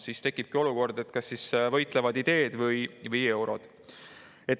Siis tekibki olukord, kas võitlevad ideed või eurod.